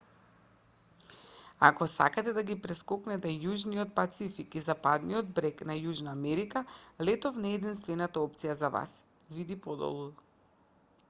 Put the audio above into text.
ако сакате да ги прескокнете јужниот пацифик и западниот брег на јужна америка летов не е единствената опција за вас. види подолу